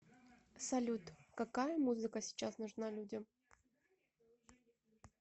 салют какая музыка сейчас нужна людям